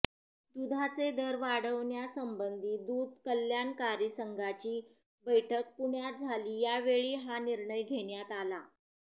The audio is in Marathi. दूधाचे दर वाढवण्यासंबंधी दूध कल्याणकारी संघाची बैठक पुण्यात झाली यावेळी हा निर्णय घेण्यात आला